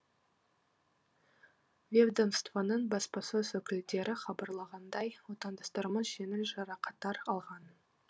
ведомствоның баспасөз өкілдері хабарлағандай отандастарымыз жеңіл жарақаттар алған